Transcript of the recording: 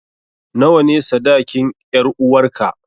Nawa ne sadakin 'yaruwarka?